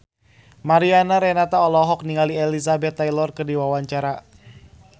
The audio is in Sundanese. Mariana Renata olohok ningali Elizabeth Taylor keur diwawancara